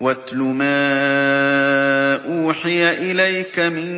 وَاتْلُ مَا أُوحِيَ إِلَيْكَ مِن